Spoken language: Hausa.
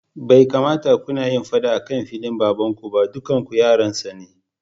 Bai kamata kunayin faɗa akan filin baban kuba dukanku yaransa ne.